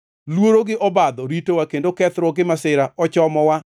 Luoro gi obadho ritowa kendo kethruok gi masira ochomowa.”